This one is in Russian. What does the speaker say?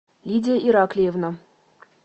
лидия ираклиевна